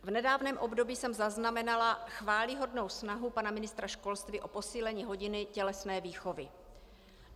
V nedávném období jsem zaznamenala chvályhodnou snahu pana ministra školství o posílení hodin tělesné výchovy.